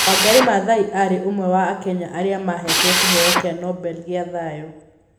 Wangari Maathai aarĩ ũmwe wa Akenya arĩa mahetwo kĩheo kĩa Nobel gĩa thayũ.